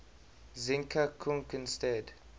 zinka kunc instead